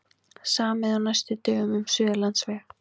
Samið á næstu dögum um Suðurlandsveg